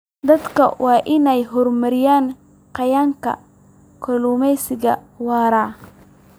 Dadku waa inay horumariyaan qiyamka kalluumeysiga waara.